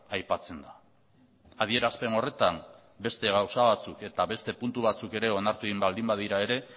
aipatzen da adierazpen horretan beste gauza batzuk eta beste puntu batzuk ere onartu egin baldin badira ere